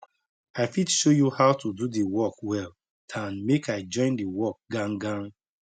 i fit show you how to do the work well dan make i join the work gan gan